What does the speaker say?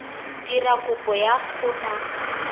dira kopo ya go nna